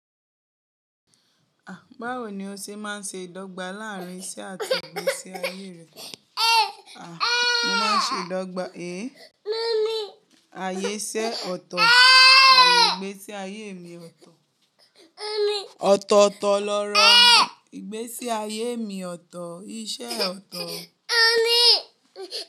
Ah! Báwo ni o ṣe máa ń ṣe ìdọ́gba láàárín iṣẹ́ àti ìgbésí ayé rẹ? Ah! Mo máa ń ṣe ìdọ́gba. É! Ayé iṣẹ́ ọ̀tọ̀, àye ìgbésí ayé mi ọ̀tọ̀. Ọ̀tọ̀ọ̀tọ̀ lọ́rọ̀ ìgbésí ayé mi ọ̀tọ̀, iṣẹ́ ọ̀tọ̀